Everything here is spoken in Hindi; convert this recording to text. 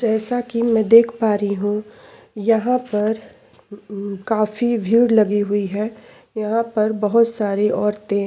जैसा की मैं देख पा रही हूँ यहाँ पर काफी भीड़ लगी हुई है यहाँ पर बहुत सारी औरते --